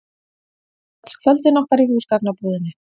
Öll kvöldin okkar í húsgagnabúðinni.